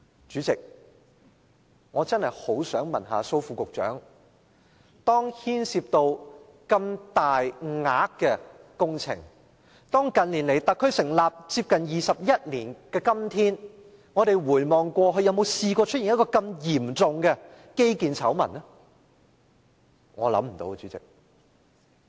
主席，我真的很想問蘇副局長，工程牽涉如此大的金額，特區成立接近21年來，有否出現過如此嚴重的基建醜聞呢？